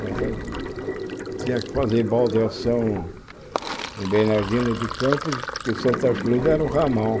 Mas eh tinha que fazer baldeação em Bernardino de Campos, porque Santa Cruz era o ramal.